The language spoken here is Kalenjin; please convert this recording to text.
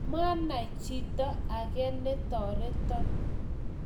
mwanai chito age ne toreton.